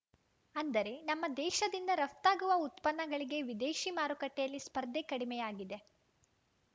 ಅಂದರೆ ನಮ್ಮ ದೇಶದಿಂದ ರಫ್ತಾಗುವ ಉತ್ಪನ್ನಗಳಿಗೆ ವಿದೇಶಿ ಮಾರುಕಟ್ಟೆಯಲ್ಲಿ ಸ್ಪರ್ಧೆ ಕಡಿಮೆಯಾಗಿದೆ